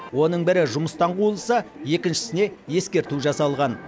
оның бірі жұмыстан қуылса екіншісіне ескерту жасалған